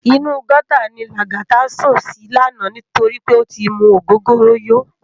Inú gòtá ni Lagata sún si làná nitóri pé ó ti mú ógógóró yó